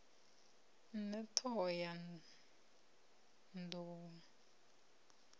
ṋne t hoho ya nḓou